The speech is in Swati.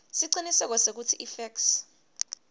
siciniseko sekutsi ifeksi